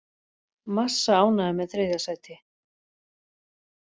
Massa ánægður með þriðja sæti